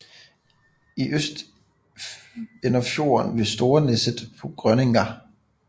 I øst ender fjorden ved Storeneset på Grønenga